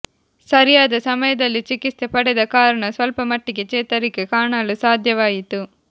ಸರಿಯಾದ ಸಮಯದಲ್ಲಿ ಚಿಕಿತ್ಸೆ ಪಡೆದ ಕಾರಣ ಸ್ವಲ್ಪ ಮಟ್ಟಿಗೆ ಚೇತರಿಕೆ ಕಾಣಲು ಸಾಧ್ಯವಾಯಿತು